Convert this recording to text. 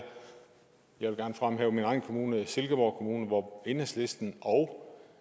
jeg vil gerne fremhæve min egen kommune silkeborg kommune hvor enhedslisten og